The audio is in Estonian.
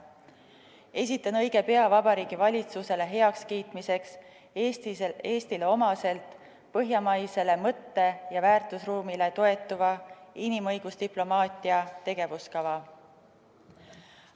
Esitan õige pea Vabariigi Valitsusele heakskiitmiseks Eestile omaselt põhjamaisele mõtte- ja väärtusruumile toetuva inimõigusdiplomaatia tegevuskava.